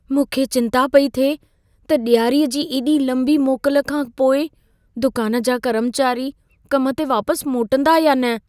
मूंखे चिंता पेई थिए त ॾियारीअ जी एॾी लंबी मोकल खां पोइ दुकान जा कर्मचारी कम ते वापसि मोटंदा या न।